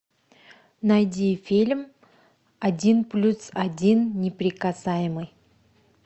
найди фильм один плюс один неприкасаемый